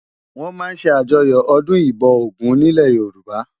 Wòn má n sé àjòyò òdún ibò ógùn nilè Yoruba